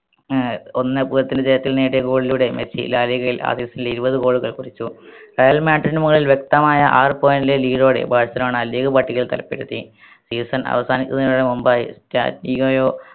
ഏർ ഒന്നേ പൂജ്യത്തിന് ജയത്തിൽ നേടിയ goal ലൂടെ മെസ്സി ലാ ലിഗയിൽ ആ season ൽ ഇരുപത് goal കൾ കുറിച്ചു റയൽ മാഡ്രിഡിന് മുതൽ വ്യക്തമായ ആറ് point ലെ lead ഓടെ ബാഴ്‌സലോണ league പട്ടികയിൽ തരത്തിലെത്തി season അവസാനിപ്പിക്കുന്നതിന് മുമ്പായി കയോ